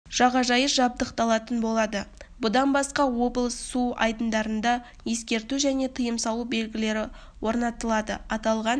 жағажайы жабдықталатын болады бұдан басқа облыс су айдындарында ескерту және тыйым салу белгілері орнатылды аталған